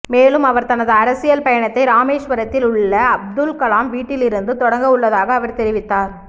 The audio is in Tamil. மேலும் அவர் தனது அரசியல் பயணத்தை ராமேஸ்வரத்தில் உள்ள அப்துல் கலாம் வீட்டிலிருந்து தொடங்க உள்ளதாக அவர் தெரிவித்தார்